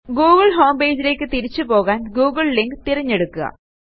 Google homepageലേയ്ക്ക് തിരിച്ചുപോകാൻ Google link തിരഞ്ഞെടുക്കുക